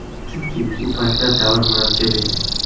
Chunki u paytlar davr murakkab edi.